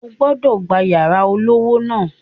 O gbọ́dọ̀ gba yàrá olówó ńlá